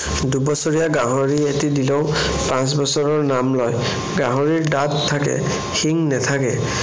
দুবছৰীয়া গাহিৰ এটি দিলেও পাঁছ বছৰৰ নাম লয়। গাহৰিৰ দাঁত থাকে, শিং নাথাকে।